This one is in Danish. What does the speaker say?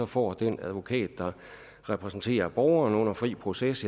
får den advokat der repræsenterer borgeren under fri proces